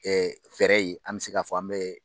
fɛɛrɛ ye, an bɛ se k'a fɔ an bɛ